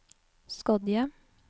Skodje